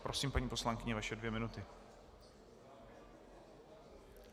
Prosím, paní poslankyně, vaše dvě minuty.